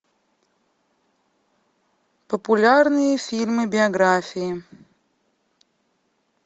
популярные фильмы биографии